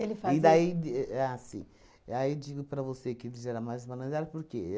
Ele fazia... E daí de ah, sim, aí digo para você que ele já era mais malandrado, por quê?